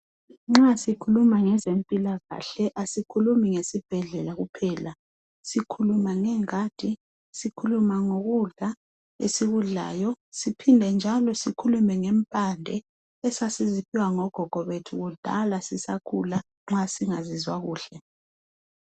Nxa sikhuluma ngezempilakahle asikhulumi ngesibhedlela kuphela sikhuluma ngengadi sikhuluma ngokudla esikudlayo siphinde njalo sikhulume ngempande esasiziphiwa ngogogo bethu kudala sisakhula nxa singazizwa kuhle.